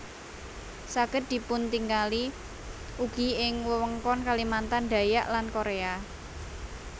Saged dipuntingali ugi ing wewengkon Kalimantan Dayak lan Korea